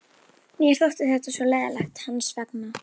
Mér þótti þetta svo leiðinlegt hans vegna.